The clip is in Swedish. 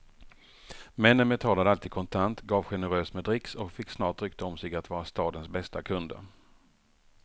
Männen betalade alltid kontant, gav generöst med dricks och fick snart rykte om sig att vara stadens bästa kunder.